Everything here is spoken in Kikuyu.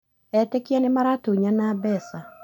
Etĩkia nĩmaratunyana mbeca